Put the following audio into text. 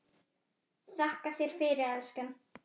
Þakka þér fyrir, elskan.